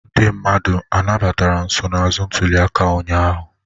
Ndị mmadụ anabatara nsonaazụ ntuliaka ụnyahụ?